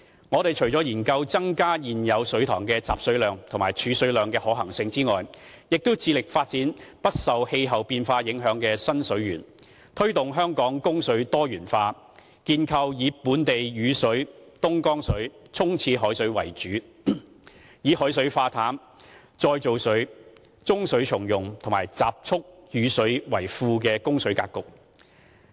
我們除了研究增加現有水塘的集水量和儲水量的可行性外，亦致力發展不受氣候變化影響的新水源，推動香港供水多元化，建構以本地雨水、東江水、沖廁海水為主，並以海水化淡、再造水、中水重用和集蓄雨水為副的供水格局。